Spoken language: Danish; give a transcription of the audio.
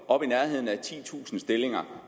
op i nærheden af titusind stillinger